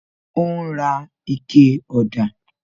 Ó ń ra ikẹ ọ̀dà